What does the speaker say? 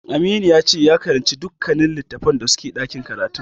Aminu yace ya karance dukkanin littatafan da suke ɗakin karatun.